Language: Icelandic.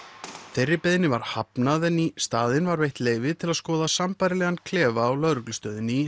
þeirri beiðni var hafnað en í staðinn var veitt leyfi til að skoða sambærilegan klefa á lögreglustöðinni í